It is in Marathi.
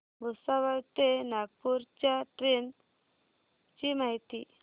भुसावळ ते नागपूर च्या ट्रेन ची माहिती